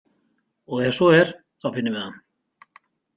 Og ef svo er, þá finnum við hann.